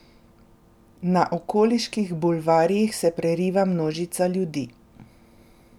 Na okoliških bulvarjih se preriva množica ljudi.